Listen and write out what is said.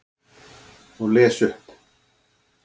Og les upp.